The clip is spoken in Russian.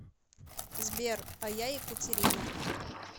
сбер а я екатерина